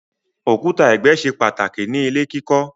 Òkúta ẹgbẹ ṣe pàtàkì ní ilè kí kò.